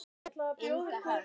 Ingi Hans.